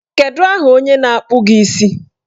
Kedu aha onye na-akpụ gị isi?